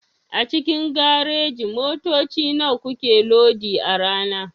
A cikin gareji motoci nawa suke lodi a rana?